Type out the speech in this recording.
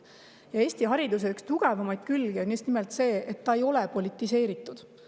Ja Eesti hariduse üks tugevamaid külgi on just nimelt see, et see ei ole politiseeritud.